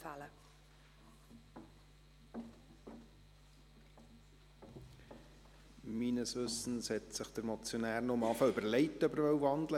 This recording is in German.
Meines Wissens hat sich der Motionär erst einmal überlegt, ob er wandeln wolle.